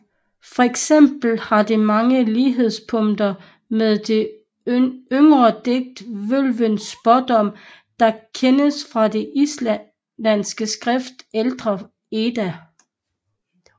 Fx har det mange lighedspunkter med det yngre digt Vølvens spådom der kendes fra det islandske skrift Ældre Edda